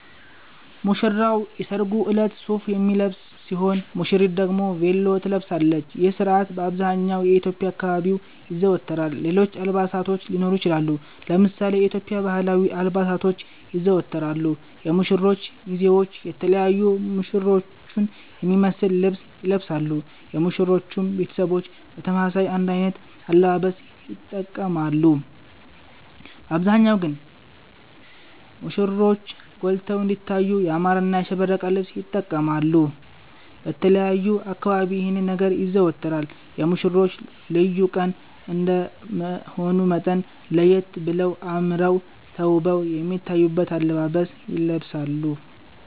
ሙሽራዉ የሰርጉ እለት ሱፍ የሚለብስ ሲሆን ሙሽሪት ደግሞ ቬሎ ትለብሳለች ይህ ስርአት በአብዘሃኛዉ የኢትዮዽያ አካባቢዎች ይዘወተራል ሌሎች አልባሳቶች ሊኖሩ ይችላሉ። ለምሳሌ የኢትዮዽያ ባህላዊ አልባሳቶች ይዘወተራሉ የሙሽሮቹ ሚዜዎች የተለያዩ ሙሽሮቹን የሚመሰል ልብስ ይለብሳሉ የሙሽሮቹም ቤተሰቦች በተመሳሳይ አንድ አይነት አለባበስ ይተቀማሉ በአብዛሃኛዉ ግን ሙሽሮቹ ጎልተዉ እንዲታዩ ያማረና ያሸበረቀ ልብስ ይተቀማሉ። በተለያዩ አካባቢዎች ይህ ነገር ይዘወተራል የሙሽሮቹ ልዩ ቀን እንደመሆኑ መጠን ለየት በለዉና አመረዉ ተዉበዉ የሚታዩበትን አለባበስ ይለብሳሉ